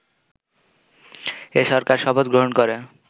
এ সরকার শপথ গ্রহণ করে